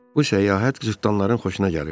Bu səyahət cırtdanların xoşuna gəlirdi.